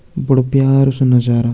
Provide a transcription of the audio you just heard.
बड़ु प्यारु सु नजारा।